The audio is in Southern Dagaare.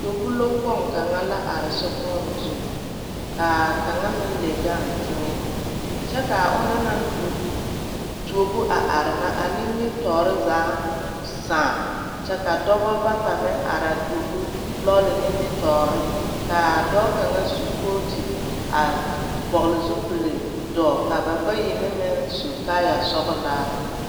Tuobu lɔkpoŋ kaŋa la are zokpoŋ zu ka a kaŋa meŋ le gaŋ teŋɛ kyɛ ka a ona na tuo tuobo a are nimitɔɔre zaa sãã kyɛ ka dɔbɔ bata meŋ are a tuobu lɔɔre nimitɔɔre ka a dɔɔ kaŋa su koote a vɔgle zupili a dɔo ka ba bayi ne meŋ su kaaya sɔglaa.